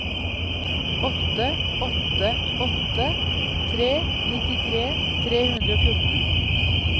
åtte åtte åtte tre nittitre tre hundre og fjorten